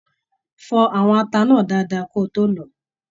Fọ àwọn ata náà dáadáa kí o to lọ ọ!